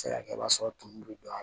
se ka kɛ i b'a sɔrɔ tumu bɛ don a la